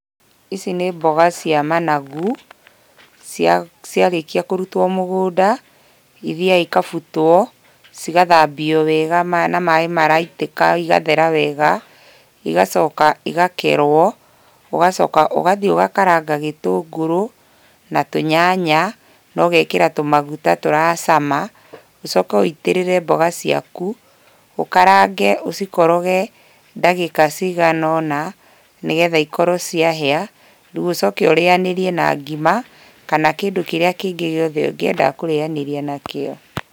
Ici nĩ mboga cia managu, ciarĩkia kũrutwo mũgũnda, ithiaga ikabutwo, cigathambio wega na maĩ maraitĩka igathera wega, igacoka igakerwo. Ũgacoka ũgathiĩ ũgakaranga gĩtũngũrũ, na tũnyanya, na ũgekĩra tũmaguta tũracama, ũcoke wĩitĩrĩre mboga ciaku, ũkarange ũcikoroge ndagĩka cigana ũna, nĩgetha ikorwo ciahĩa. Rĩu ũcoke ũrĩanĩrie na ngima kana kĩndũ kĩrĩa kĩngĩ gĩothe ũngĩenda kũrĩanĩria nakĩo.